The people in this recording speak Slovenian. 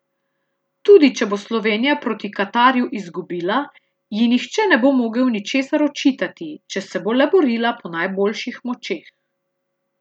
Tudi če bo Slovenija proti Katarju izgubila, ji nihče ne bo mogel ničesar očitati, če se bo le borila po najboljših močeh.